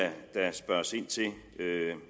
spørges ind til